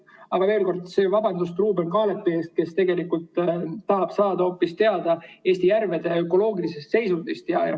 Aga veel kord vabandan Ruuben Kaalepi ees, kes tegelikult tahab saada hoopis teada Eesti järvede ökoloogilisest seisundist.